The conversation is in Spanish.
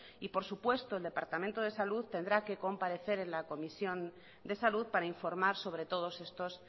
y por supuesto el departamento de salud tendrá que comparecer en la comisión de salud para informar sobre todos estos